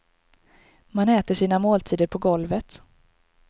Man äter sina måltider på golvet.